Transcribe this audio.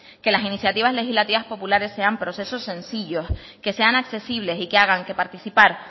que las iniciativas legislativas populares sean procesos sencillos que sean accesibles y que hagan que participar